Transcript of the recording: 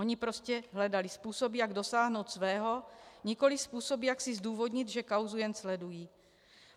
Oni prostě hledali způsoby, jak dosáhnout svého, nikoli způsoby, jak si zdůvodnit, že kauzu jen sledují.